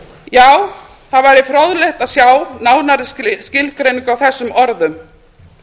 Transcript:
já það væri fróðlegt að sjá nánari skilgreiningu á þessum orðum